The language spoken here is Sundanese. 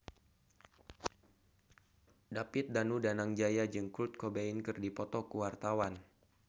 David Danu Danangjaya jeung Kurt Cobain keur dipoto ku wartawan